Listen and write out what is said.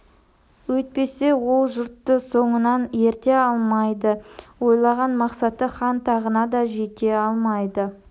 өйтпесе ол жұртты соңынан ерте алмайды ойлаған мақсаты хан тағына да жете алмайды